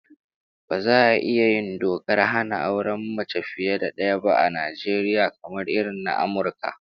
Baza a iya yin dokar hana auren mace fiye da daya ba a Najeriya, kamar irin na Amurka